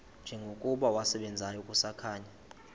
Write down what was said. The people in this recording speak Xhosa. njengokuba wasebenzayo kusakhanya